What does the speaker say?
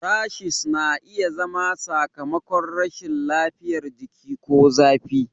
Rashes na iya zama sakamakon rashin lafiyar jiki ko zafi.